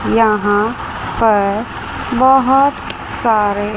यहां पर बहुत सारे --